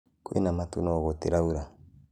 Kwĩ na matũ no gũtĩraura